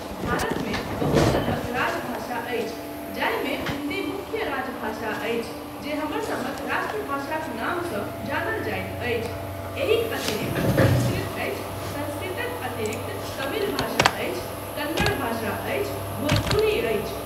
भारतमे बहुत तरहक राजभाषा अछि जाहिमे हिन्दी मुख्य राजभाषा अछि जे हमरसभक राष्ट्रभाषाक नामसँ जानल जाइत अछि एहिक अतिरिक्त संस्कृत अछि, संस्कृतक अतिरिक्त तमिल भाषा अछि, कन्नड़ भाषा अछि, भोजपुरी अछि।